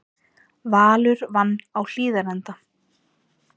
Valur vann á Hlíðarenda